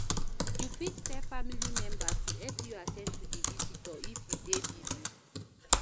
You fit tell family member to help you at ten d to the visitor if you dey busy